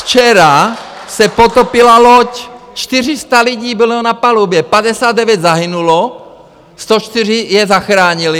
Včera se potopila loď, 400 lidí bylo na palubě, 59 zahynulo, 104 je zachránili.